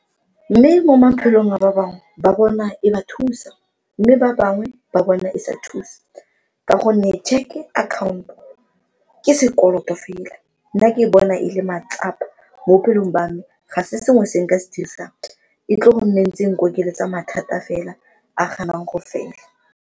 Mme mo maphelong a ba bangwe ba bona e ba thusa mme ba bangwe ba bona e sa thusa ka gonne tšheke akhaonto ke sekoloto fela, nna ke bona e le matsapa mo bophelong ba me ga se sengwe se nka se dirisang e tle go nne ntse e nkokeletsa mathata fela a ganang go fela.